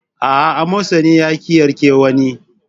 Aa, amosani yaƙi yarke wa ne